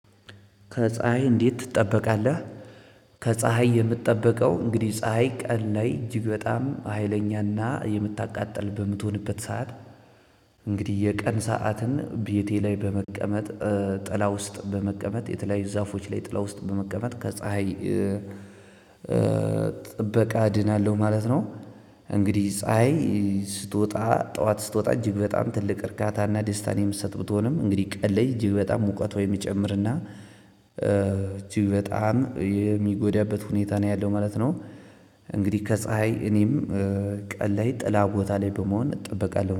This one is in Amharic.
ከፀሀይ እንዴት ትጠበቃለህ? ከፀሀይ የምጠበቀው እንግዲህ ፀሀይ ቀን ላይ እጅግ በጣም ሀይለኛና የምታቃጥል በምትሆንበት ሰዓት። እንግዲህ የቀን ሰዓትን ቤቴ ላይ በመቀመጥ ጥላ ውስጥ በመቀመጥ የተለያዩ ዛፎች ላይ ጥላ ውስጥ በመቀመጥ ከፀሀይ ጥበቃ እድናለሁ ማለት ነው። እንግዲህ ፀሀይ ስትወጣ ጠዋት ስትወጣ እጅግ በጣም ትልቅ እርካታና ደስታን የምትሰጥ ብትሆንም እንግዲህ ቀለይ እጅግ በጣም ሙቀቷ የሚጨምርና እጅግ በጣም የሚጎዳበት ሁኔታ ነው ያለው ማለት ነው። እንግዲህ ከፀሀይ እኔም ቀን ላይ ጥላ ቦታ ላይ በመሆን እጠበቃለሁ